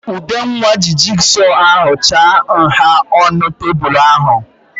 Udenwa ji jigsọ ahụ chaa nha ọnụ tebụl ahụ.